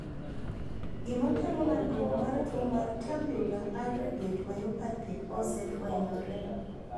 Gima kelo landruok mar tuo mar tubular aggregate myopathy ose fwenyore.?